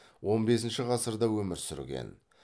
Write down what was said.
он бесінші ғасырда өмір сүрген